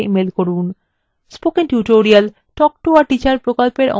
spoken tutorial talk to a teacher প্রকল্পের অংশবিশেষ